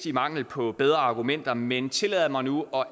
i mangel på bedre argumenter men tillad mig nu